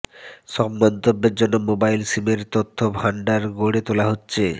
সব মন্তব্যের জন্য মোবাইল সিমের তথ্য ভান্ডার গড়ে তোলা হচ্ছে